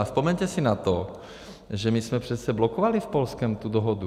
A vzpomeňte si na to, že my jsme přece blokovali s Polskem tu dohodu.